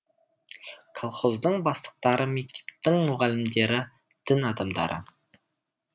колхоздың бастықтары мектептің мұғалімдері дін адамдары